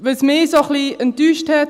– Was mich ein wenig enttäuscht hat: